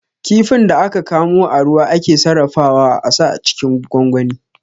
Kifin da aka kamo a ruwa ake sarrafawa a sa cikin gwangwani